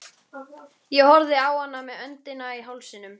Ég horfði á hana með öndina í hálsinum.